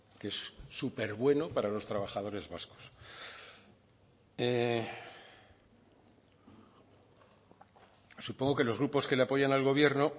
que es súper bueno para los trabajadores vascos supongo que los grupos que le apoyan al gobierno